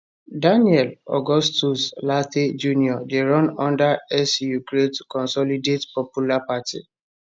daniel augustus lartey jnr dey run under su great consolidate popular party